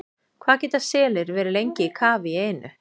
Hvað geta selir verið lengi í kafi í einu?